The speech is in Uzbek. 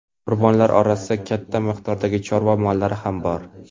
Qurbonlar orasida katta miqdordagi chorva mollari ham bor.